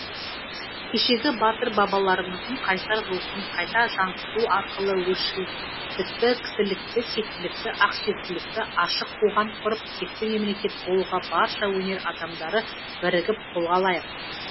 кешегі батыр бабаларымыздың қайсар рухын қайта жаңғырту арқылы өршілдікті кісілікті тектілікті ақсүйектілікті ашық қоғам құрып текті мемлекет болуға барша өнер адамдары бірігіп қолға алайық